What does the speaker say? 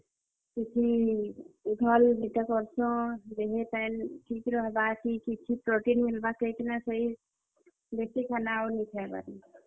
କିଛି ଭଲ୍ ଦୁଇଟା କରସୁଁ, କି ଦିହି, ପାଏନ୍ ଠିକ୍ ରହେବା, କି କିଛି protein ମିଲ୍ ବା କହି କରି କେହି ଦେଶି ଖାନା ଆଉ ନାଇଁ, ଖାଏବାର୍ ନ।